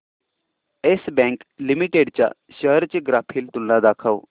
yes Bank Limited च्या shares ची graphical तुलना दाखव